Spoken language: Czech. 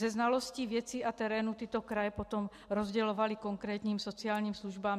Se znalostí věcí a terénů tyto kraje potom rozdělovaly konkrétním sociálním službám.